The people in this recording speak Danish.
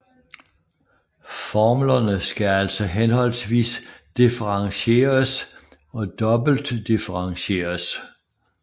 Formlerne skal altså henholdsvis differentieres og dobbeltdifferentieres